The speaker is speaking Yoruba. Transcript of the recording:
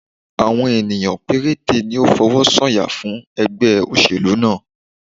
Àwọn ènìyàn péréte ni ó fọwọ́ sọ yà fún ẹgbẹ́ oselu náà